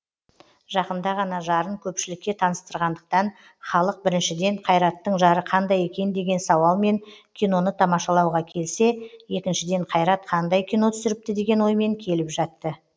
жақында ғана жарын көпшілікке таныстырғандықтан халық біріншіден қайраттың жары қандай екен деген сауалмен киноны тамашалауға келсе екіншіден қайрат қандай кино түсіріпті деген оймен келіп жатты